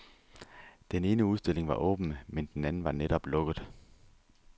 Den ene udstilling var åben, men den anden var netop lukket.